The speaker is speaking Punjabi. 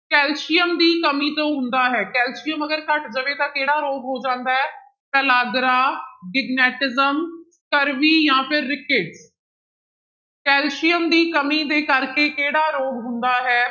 ਕੈਲਸੀਅਮ ਦੀ ਕਮੀ ਤੋਂ ਹੁੰਦਾ ਹੈ ਕੈਲਸੀਅਮ ਅਗਰ ਘੱਟ ਜਾਵੇ ਤਾਂ ਕਿਹੜਾ ਰੋਗ ਹੋ ਜਾਂਦਾ ਹੈ? ਪਲਾਗਰਾ, ਡਿਗਨੈਟਿਸਮ, ਸਕਰਵੀ ਜਾਂ ਫਿਰ ਰਿਕੇਟ ਕੈਲਸੀਅਮ ਦੀ ਕਮੀ ਦੇ ਕਰਕੇ ਕਿਹੜਾ ਰੋਗ ਹੁੰਦਾ ਹੈ